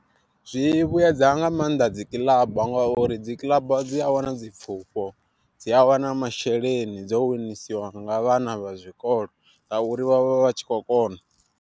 Zwi vhuedza nga maanḓa dzikiḽaba ngauri dzikiḽaba dzi a wana dzi pfufho, dzi a wana masheleni dzo winisiwa nga nga vhana vha zwikolo ngauri vhavha vhatshi kho kona.